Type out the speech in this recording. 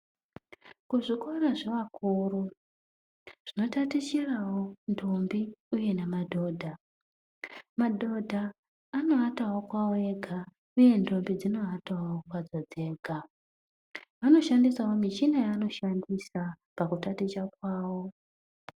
Kuzvikora zvavakuru zvatatichirawo ndombi uye namadhodha. Madhodha anoatawo kwavo ega uye ndombi dzinoatawo kwadzo dzega. Vanoshandisawo muchina yavanoshandisa pakutaticha kwavo.